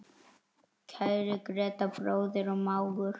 Kæri Grétar, bróðir og mágur.